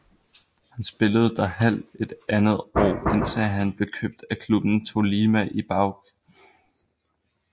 Han spillede der halv andet år indtil han blev købt af klubben Tolima Ibagué